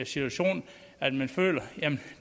situation at man føler at